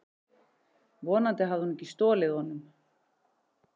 Vonandi hafði hún ekki stolið honum.